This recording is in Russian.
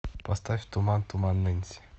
поставь туман туман нэнси